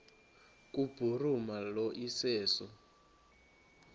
kubhuruma lo iseso